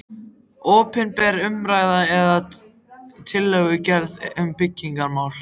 Opinber umræða eða tillögugerð um byggingarmál